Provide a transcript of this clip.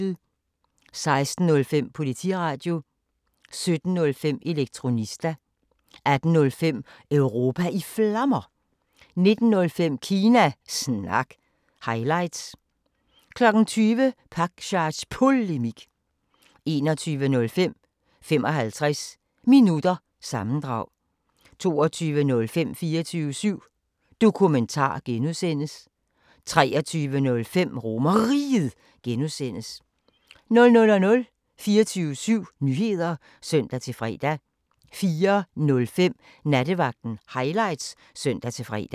16:05: Politiradio 17:05: Elektronista 18:05: Europa i Flammer 19:05: Kina Snak – highlights 20:05: Pakzads Polemik 21:05: 55 Minutter – sammendrag 22:05: 24syv Dokumentar (G) 23:05: RomerRiget (G) 00:00: 24syv Nyheder (søn-fre) 04:05: Nattevagten Highlights (søn-fre)